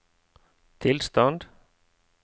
tilstand